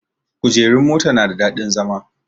Kujerun motan na da daɗin zama